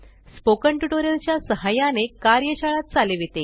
spoken tutorial च्या सहाय्याने कार्यशाळा चालविते